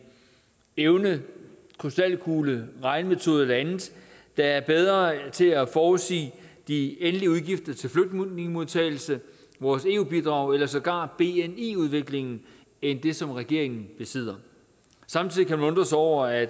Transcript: evne en krystalkugle en regnemetode eller andet der er bedre til at forudsige de endelige udgifter til flygtningemodtagelse vores eu bidrag eller sågar bni udviklingen end det som regeringen besidder samtidig kan man undre sig over at